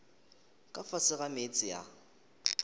ka fase ga meetse a